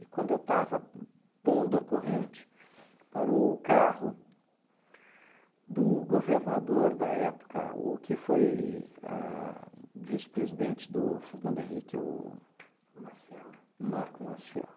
E quando eu estava pondo a corrente, parou o carro do governador da época, o que foi ahn vice-presidente do Fernando Henrique, o... O Maciel? Marco Maciel